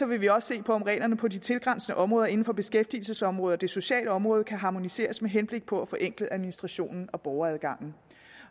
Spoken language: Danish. vi også se på om reglerne på de tilgrænsende områder inden for beskæftigelsesområdet og det sociale område kan harmoniseres med henblik på at forenkle administrationen og borgeradgangen